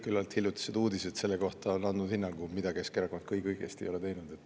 Küllalt hiljutised uudised selle kohta on andnud hinnangu, mida kõike Keskerakond õigesti ei ole teinud.